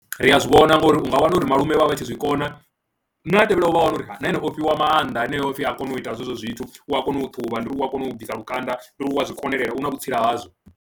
Ri a zwi vhona ngori u nga wana uri malume vha vha vha tshi zwi kona na a tevhelaho vha wana uri na ene o fhiwa maanḓa heneyo o pfhi a kona u ita zwezwo zwithu, u a kona u ṱhuvha ndi y ri u a kona u bvisa lukanda, ndi u ri konelela u na vhutsila ha hazwo.